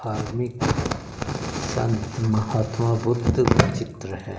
धार्मिक संत महात्मा बुद्ध का चित्र है।